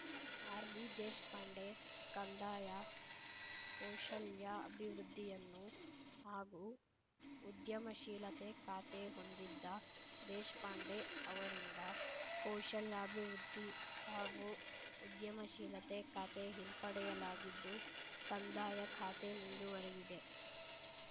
R V Deshpande ಕಂದಾಯ ಕೌಶಲ್ಯಾಭಿವೃದ್ಧಿಯನ್ನು ಹಾಗೂ ಉದ್ಯಮಶೀಲತೆ ಖಾತೆ ಹೊಂದಿದ್ದ ದೇಶ್ ಪಾಂಡೆ ಅವರಿಂದ ಕೌಶಲ್ಯಾಭಿವೃದ್ಧಿ ಹಾಗೂ ಉದ್ಯಮಶೀಲತೆ ಖಾತೆ ಹಿಂಪಡೆಯಲಾಗಿದ್ದು ಕಂದಾಯ ಖಾತೆ ಮುಂದುವರೆದಿದೆ